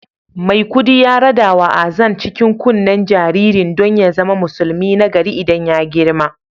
Maikudi ya radawa Azan cikin kunnen jaririn don ya zama musulmi nagari idan ya girma